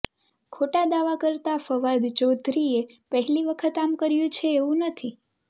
ખોટા દાવા કરતા ફવાદ ચૌધરીએ પહેલી વખત આમ કર્યું છે એવું નથી